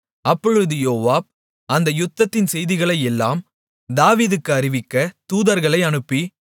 அப்பொழுது யோவாப் அந்த யுத்தத்தின் செய்திகளையெல்லாம் தாவீதுக்கு அறிவிக்க தூதர்களை அனுப்பி